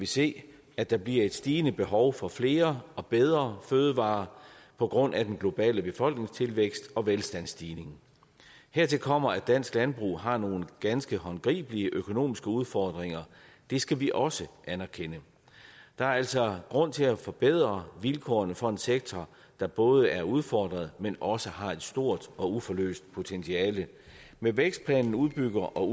se at der bliver et stigende behov for flere og bedre fødevarer på grund af den globale befolkningstilvækst og velstandsstigning hertil kommer at dansk landbrug har nogle ganske håndgribelige økonomiske udfordringer det skal vi også anerkende der er altså grund til at forbedre vilkårene for en sektor der både er udfordret men også har et stort og uforløst potentiale med vækstplanen udbygger og